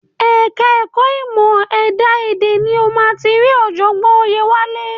Ẹ̀ka ẹ̀kọ́ ìmọ̀ ẹ̀dá èdè ni o máa ti rí ọ̀jọ̀gbọ́n Oyèwálé.